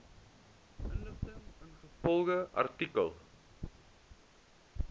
inligting ingevolge artikel